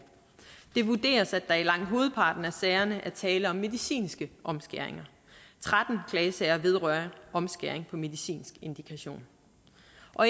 det vurderes at der i langt hovedparten af sagerne er tale om medicinske omskæringer tretten klagesager vedrører omskæring på medicinsk indikation